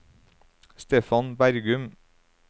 Stefan Bergum